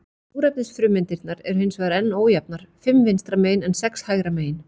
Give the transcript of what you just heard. Súrefnisfrumeindirnar eru hins vegar enn ójafnar, fimm vinstra megin en sex hægra megin.